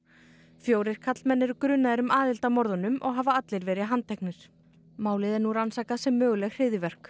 fjórir karlmenn eru grunaðir um aðild að morðunum og hafa allir verið handteknir málið er nú rannsakað sem möguleg hryðjuverk